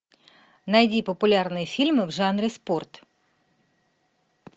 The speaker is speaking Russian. найди популярные фильмы в жанре спорт